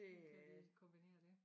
Kan vi kombinere dét